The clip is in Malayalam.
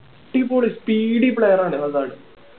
അടിപൊളി speedy player ആണ് ഹസാഡ്